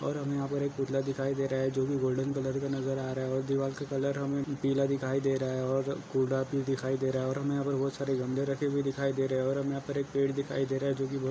और हमे यहा पर एक पुतला दिखाई दे रहा है जोकि गोल्डन कलर का नजर आ रहा है और दीवाल का कलर हमे पीला दिखाई दे रहा है ओर कोडा भी दिखाई दे रहा है और हमे यहा पर बहुत सारे झंडे रखे भी दिखाई दे रहे है और हमे यहा पर एक पेड़ दिखाई दे रहा है जोकि बोह --